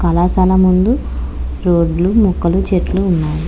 కల శాల ముందూ రోడ్లు మక్కలు ఉన్నాయి.